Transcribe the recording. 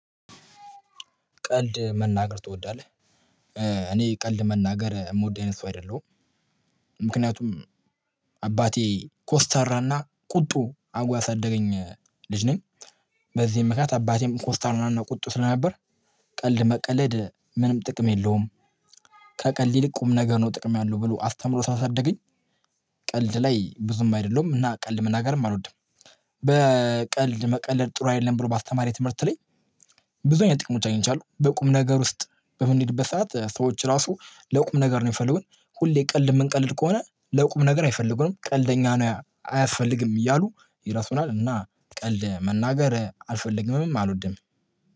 ቀልድ መናገር ትወዳለህ? እኔ ቀልድ መናገር የምወድ አይነት ሰው አይደለሁም። ምክንያቱም አባቴ ኮስታራና ቁጡ አድሪጓ ያሳደገኝ ልጅ ነኝ። በዚህም ምክንያት አባቴም ኮስታር እና ቁጡ ስለነበር። ቀልድ መቀለድ ምንም ጥቅም የለውም። ከቀልድ ይልቅ ቁም ነገ ነው ጥቅም ያለው ብሎ አስተምሮ ሳለሳደገኝ። ቀልድ ላይ ብዙም አይደለሁም እና ቀልድ መናገርም አልወድም። በቀልድ መቀለድ ጥሩ አይደለም ብሎ ባስተማሪ ትምህርት ላይ። ብዙ አይነት ጥቅሞች አግኝቻለው በቁም ነገር ውስጥ በምንሄድበት ሰዓት ሰዎች ራሱ ለቁም ነገር ነው የሚፈልገው። ሁሌ ቀልድ የምንቀልድ ከሆነ ለቁም ነገር አይፈልጉንም ቀልደኛ ነው አያስፈልግም እያሉ ይራሱናል እና ቀልድ መናገር አልፈልግምም አልወድም።